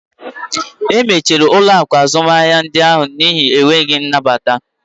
E mechiri ụlọ akụ azụmaahịa ndị ahụ n'ihi enweghị nnabata.